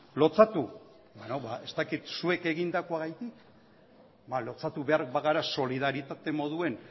lotsatu ba ez dakit zuek egindakoagatik ba lotsatu behar bagara solidarizatze moduan